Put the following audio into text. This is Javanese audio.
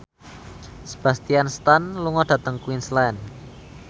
Sebastian Stan lunga dhateng Queensland